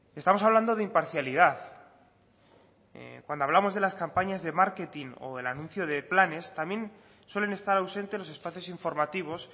estamos hablando de imparcialidad cuando hablamos de las campañas de marketing o del anuncio de planes también suelen estar ausente los espacios informativos